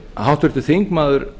háttvirtur þingmaður